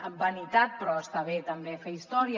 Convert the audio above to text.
amb vanitat però està bé també fer història